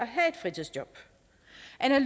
have